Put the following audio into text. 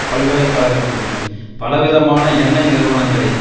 பல்கலை கழகத்தில் பல விதமான எண்ணை நிறுவனங்களின்